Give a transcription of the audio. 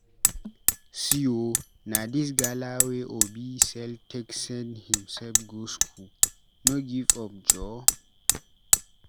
See o na dis gala wey Obi sell take send himsef go skool, no give up joor.